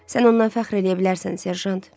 Sən ondan fəxr eləyə bilərsən, Serjant.